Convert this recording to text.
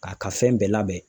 K'a ka fɛn bɛɛ labɛn.